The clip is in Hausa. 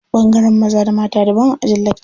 Ɓangaren maza da mata daban a ajin lakca.